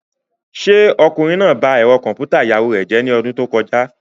Ṣé ọkùnrin náà ba ẹ̀rọ kọ̀m̀pútà ìyàwó rẹ̀ jẹ́ ní ọdún tó kọjá?